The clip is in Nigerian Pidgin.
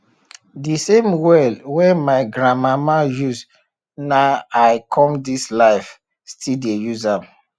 de same well wen my grandmama use na i come dis life still dey use am